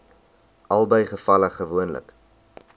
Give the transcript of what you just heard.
albei gevalle gewoonlik